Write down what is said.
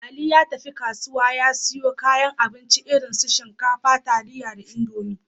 Ali ya tafi kasuwa ya siyo kayan abinci, irin su shinkafa, taliya da Indomi.